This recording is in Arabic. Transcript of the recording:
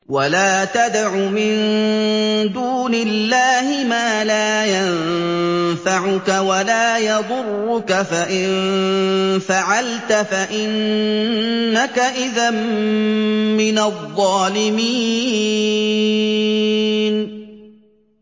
وَلَا تَدْعُ مِن دُونِ اللَّهِ مَا لَا يَنفَعُكَ وَلَا يَضُرُّكَ ۖ فَإِن فَعَلْتَ فَإِنَّكَ إِذًا مِّنَ الظَّالِمِينَ